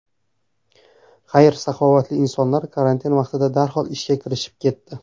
Xayr-saxovatli insonlar karantin vaqtida darhol ishga kirishib ketdi.